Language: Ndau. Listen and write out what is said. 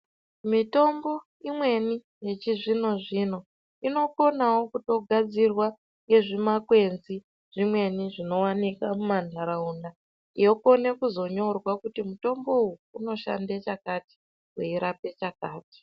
Mitombo imweni yechizvino-zvino inokonawo kutogadzirwa ngezvimakwenzi zvimweni zvinowanika mumanharaunda, yokone kuzonyorwa kuti mutombo uyu unoshande chakati, weirape chakati.